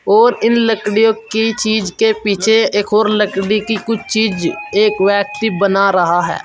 और इन लड़कियों की चीज के पीछे एक और लकड़ी की कुछ चीज एक व्यक्ति बना रहा है।